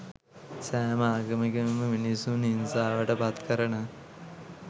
සෑම ආගමකින්ම මිනිසුන් හිංසාවට පත්කරන